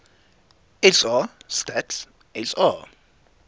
sa stats sa